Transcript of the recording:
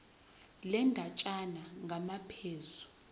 le ndatshana ngamaphuzu